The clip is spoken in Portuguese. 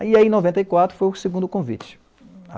Aí, em noventa e quatro, foi o segundo convite.